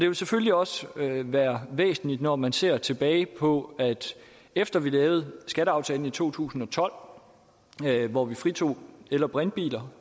jo selvfølgelig også være væsentligt når man ser tilbage på at efter vi lavede skatteaftalen i to tusind og tolv hvor vi fritog el og brintbiler